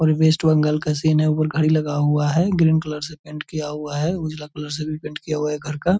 और वेस्ट बंगाल का सीन है उपर घड़ी लगा हुआ है ग्रीन कलर से पेंट किया हुआ है उजला कलर से भी पेंट किया हुआ है घर का।